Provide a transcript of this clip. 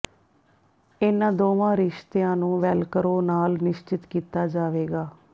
ਇਨ੍ਹਾਂ ਦੋਵਾਂ ਰਿਸ਼ਤਿਆਂ ਨੂੰ ਵੈਲਕਰੋ ਨਾਲ ਨਿਸ਼ਚਿਤ ਕੀਤਾ ਜਾਵੇਗਾ